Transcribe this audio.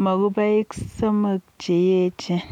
mopukoik somok che echen.